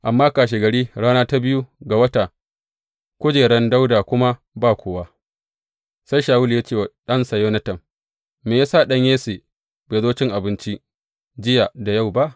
Amma kashegari, rana ta biyu ga wata, kujeran Dawuda kuma ba kowa, sai Shawulu ya ce wa ɗansa Yonatan, Me ya sa ɗan Yesse bai zo cin abinci, jiya da yau ba?